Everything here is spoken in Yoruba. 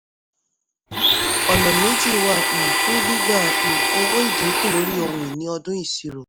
ọ̀nà méjì wà um fún gbígba um owó ìdínkù lórí ohun ìní ọdún ìṣirò.